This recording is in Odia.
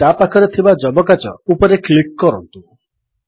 ତାପାଖରେ ଥିବା ଯବକାଚ ମେଗ୍ନିଫାୟିଙ୍ଗ୍ ଗ୍ଲାସ୍ ଉପରେ କ୍ଲିକ୍ କରନ୍ତୁ